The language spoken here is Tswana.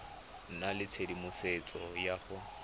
nna le tshedimosetso ya go